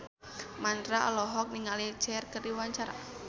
Mandra olohok ningali Cher keur diwawancara